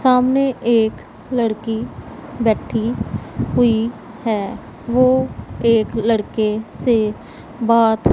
सामने एक लड़की बैठी हुई है वो एक लड़के से बात--